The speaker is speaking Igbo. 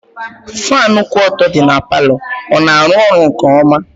Fanu kwụ ọtọ dị n'palo, ọ na arụ ọrụ nke ọma?